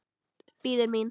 Bíður mín.